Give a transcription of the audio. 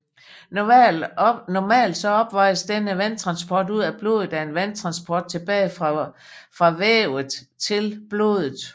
Normalt opvejes denne vandtransport ud af blodet af en vandtransport tilbage fra vævet til blodet